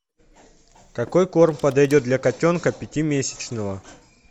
какой корм подойдет для котенка пятимесячного